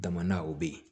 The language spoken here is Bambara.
Daman o bɛ ye